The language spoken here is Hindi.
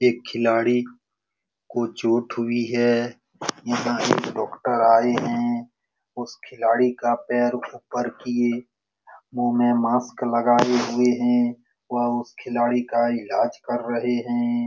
एक खिलाडी को चोट हुई है यहाँ एक डॉक्टर आए है उस खिलड़िका पैर उप्पर किये मु में मस्त लगाए हुए है वह उस खिलाडी का इलाज कर रहे है |